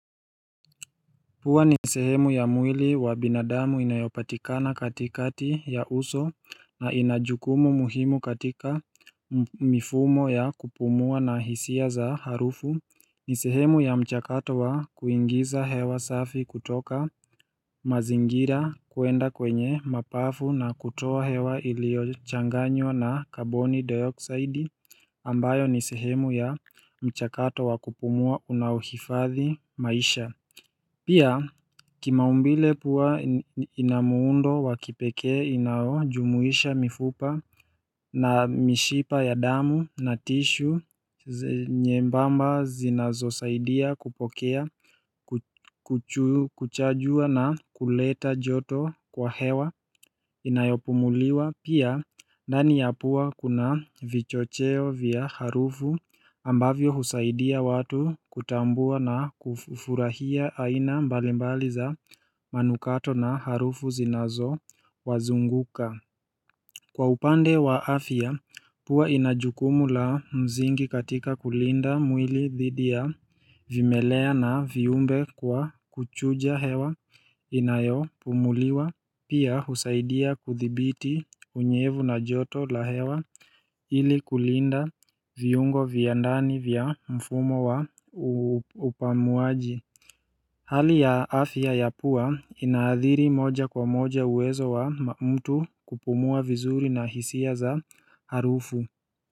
Pua ni sehemu ya mwili wa binadamu inayopatikana katikati ya uso, na ina jukumu muhimu katika mifumo ya kupumua na hisia za harufu. Ni sehemu ya mchakato wa kuingiza hewa safi kutoka mazingira kuenda kwenye mapafu na kutoa hewa iliyochanganywa na karboni dioksaidi ambayo ni sehemu ya mchakato wa kupumua unaohifadhi maisha. Pia kimaumbile pua ina muundo wa kipekee, inajumuisha mifupa na mishipa ya damu na tishu nyembamba zinazosaidia kupokea kuchajua na kuleta joto kwa hewa. Inayopumuliwa, pia ndani ya pua kuna vichocheo vya harufu ambavyo husaidia watu kutambua na kufurahia aina mbalimbali za manukato na harufu zinazowazunguka. Kwa upande wa afya, pua ina jukumu la msingi katika kulinda mwili dhidi ya vimelea na viumbe kwa kuchuja hewa inayopumuliwa. Pia husaidia kuthibiti unyevu na joto la hewa ili kulinda viungo vya ndani vya mfumo wa upamuaji. Hali ya afya ya pua inaathiri moja kwa moja uwezo wa mtu kupumua vizuri na hisia za harufu.